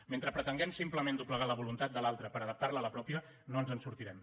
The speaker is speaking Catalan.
mentre pretenguem simplement doblegar la voluntat de l’altre per adaptarla a la pròpia no ens en sortirem